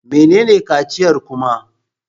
Menene kaciyar kuma?